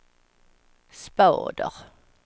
spader